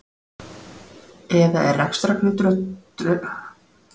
Eða er rekstrargrundvöllur fyrir Borgarleikhúsinu, Tjarnarbíói, Hörpunni?